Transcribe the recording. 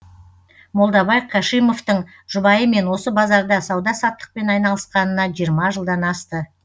молдабай кашимовтың жұбайымен осы базарда сауда саттықпен айналысқанына жиырма жылдан асты